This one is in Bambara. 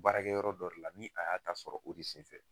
Baarakɛyɔrɔ yɔrɔ dɔ de la ni a y'a ta sɔrɔ o de senfɛ.